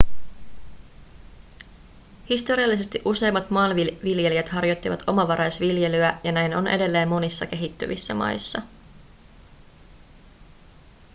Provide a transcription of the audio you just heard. historiallisesti useimmat maanviljelijät harjoittivat omavaraisviljelyä ja näin on edelleen monissa kehittyvissä maissa